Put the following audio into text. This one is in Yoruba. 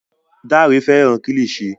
Dare fẹràn kilishi.